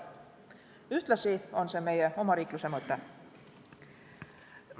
Ühtlasi on see meie omariikluse mõte.